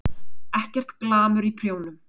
Ekkert glamur í prjónum.